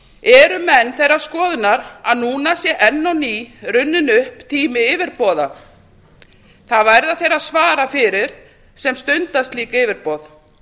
eru menn þeirrar skoðunar að núna sé enn á ný runninn upp tími yfirboða það verða þeir að svara fyrir sem stunda slík yfirboð